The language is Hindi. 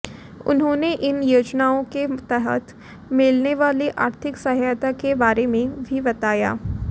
उन्होंने इन योजनाओं के तहत मिलने वाली आर्थिक सहायता के बारे में भी बताया